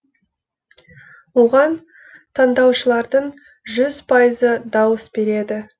оған таңдаушылардың жүз пайызы дауыс береді